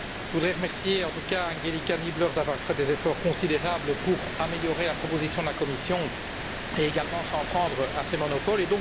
Je voudrais remercier, en tout cas, Angelika Niebler d'avoir fait des efforts considérables pour améliorer la proposition de la Commission et également de s'en prendre à ces monopoles.